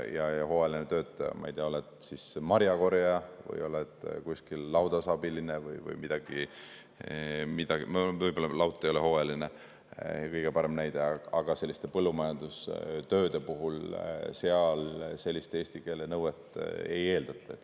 Ja hooajaliselt töötajalt, on ta siis marjakorjaja või kuskil laudas abiline või midagi – võib-olla laut ei ole kõige parem näide, see ei ole hooajaline –, selliste põllumajandustööde puhul eesti keele nõuet ei eeldata.